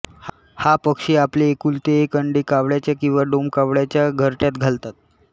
हा पक्षी आपले एकुलते एक अंडे कावळ्याच्या किंवा डोमकावळ्याच्या घरट्यांत घालतात